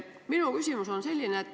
Minu küsimus on selline.